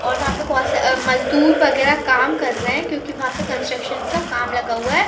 और वहां पर बहुत सा मजदूर वगैरह काम कर रहे क्योंकी वहाँ कन्स्ट्रक्शन का काम लगा हुआ है।